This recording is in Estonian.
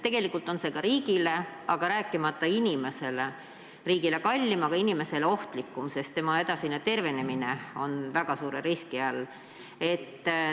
Tegelikult on see kõik riigile kallim, rääkimata inimesest, aga inimesele ohtlikum, sest tema edasine tervenemine on väga suure riski all.